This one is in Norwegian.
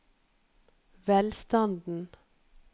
velstanden